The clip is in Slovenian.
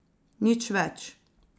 Nič več.